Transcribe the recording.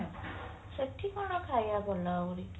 ସେଠୀ କଣ ଖାଇବା ଭଲ ଆହୁରି